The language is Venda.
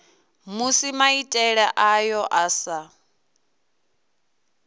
musi maitele ayo a sa